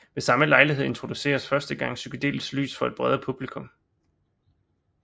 Ved samme lejlighed introduceredes første gang psykedelisk lys for et bredere publikum